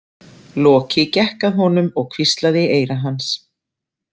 Loki gekk að honum og hvíslaði í eyra hans.